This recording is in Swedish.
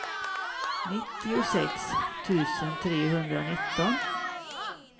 nittiosex tusen trehundranitton